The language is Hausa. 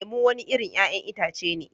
Lemu wani irin 'ya'yan itace ne